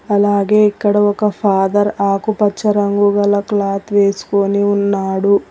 అలాగే ఇక్కడ ఒక ఫాదర్ ఆకుపచ్చ రంగు గల క్లాత్ వేసుకొని ఉన్నాడు.